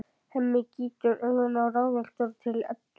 Hemmi gýtur augunum ráðvilltur til Eddu.